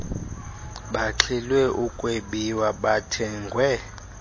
baxhilwe ukwebiwa bathengwe